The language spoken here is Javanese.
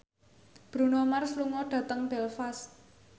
Bruno Mars lunga dhateng Belfast